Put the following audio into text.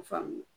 Faamuya